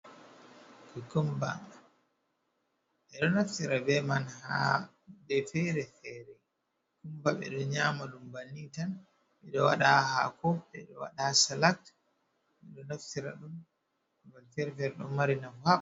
Kukumba, ɓe ɗo naftira bee man haa kuuje feere-feere. Woɓɓe ɗo nyaama ɗum banni tan, ɓe ɗo waɗa ɗum haa haako, ɓe ɗo waɗa haa ''salad'' ɓe ɗo naftira ɗum babe feere-feere, ɗon mari nafu.